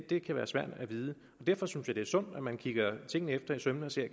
det kan være svært at vide og derfor synes jeg at det er sundt at man kigger tingene efter i sømmene og ser